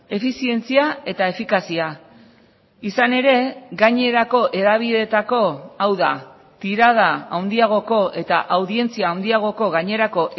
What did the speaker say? efizientzia eta efikazia izan ere gainerako hedabideetako hau da tirada handiagoko eta audientzia handiagoko gainerako